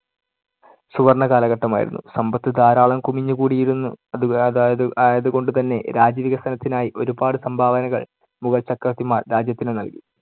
സുവർണ്ണ കാലഘട്ടമായിരുന്നു. സമ്പത്ത് ധാരാളം കുമിഞ്ഞുകൂടിയിരുന്നു. അത് ആയത്കൊണ്ട് തന്നെ രാജ്യവികസനത്തിനായി ഒരുപാട് സംഭാവനകൾ മുഗൾ ചക്രവർത്തിമാർ രാജ്യത്തിന് നൽകി.